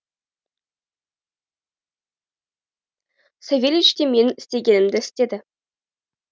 савельич те менің істегенімді істеді